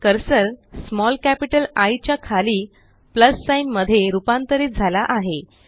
cursor small capital I च्या खाली plus sign मध्ये रुपांतरीत झाला आहे